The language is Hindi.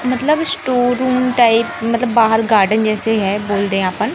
मतलब स्टोर रूम टाइप मतलब बाहर गार्डन जैसे है बोल दे आपन--